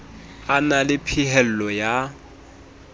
a na le phehello ya